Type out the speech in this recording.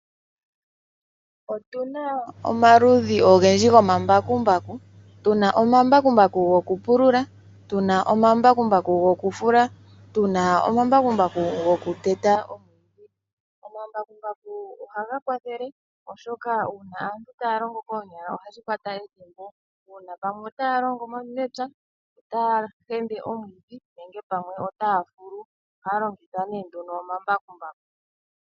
Otu na omaludhi ogendji gomambakumbaku. Tu na omambakumbaku goku pulula, tuna omambakumbaku gokufula, tu na omambakumbaku go ku teta omwiidhi. Omambakumbaku oha ga kwathele oshoka uuna aantu ta ya longo koonyala oha shi kwata ethimbo. Uuna ta ya longo mepya, taya limi omwiidhi nenge pamwe ota ya fulu, oha ya longitha omambakumbaku.